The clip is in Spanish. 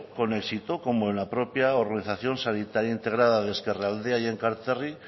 con éxito como la propia organización sanitaria integrada de ezkerraldea y enkanterri